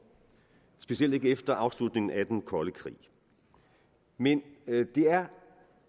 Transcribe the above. specielt ikke efter afslutningen af den kolde krig men det er